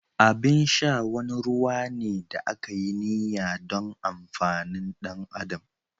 Abin sha wani ruwa ne da aka yi niyya don amfanin ɗan adam.